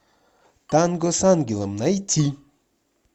танго с ангелом найти